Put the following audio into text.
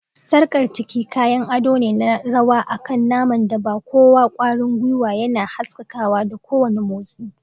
Sarkar ciki kayan ado ne na rawa akan naman da ba kowa, kwarin gwiwa yana haskakawa da kowane mots